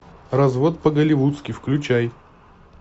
развод по голливудски включай